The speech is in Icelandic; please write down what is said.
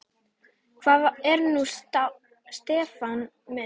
Hvað er nú Stefán minn?